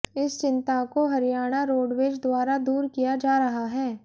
इस चिंता को हरियाणा रोडवेज द्वारा दूर किया जा रहा है